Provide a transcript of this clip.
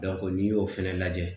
n'i y'o fana lajɛ